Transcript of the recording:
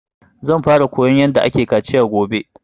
Zan fara koyan yarda ake kaciya gobe